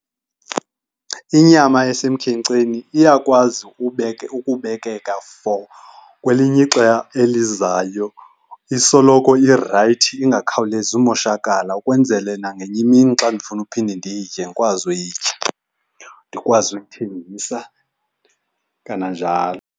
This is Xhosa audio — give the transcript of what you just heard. Inyama esemkhenkceni iyakwazi ukubekeka for kwelinye ixa elizayo. Isoloko irayithi, ingakhawulezi umoshakala ukwenzele nangenye imini xa ndifuna uphinde nditye ndikwazi uyitya, ndikwazi uyithengisa kananjalo.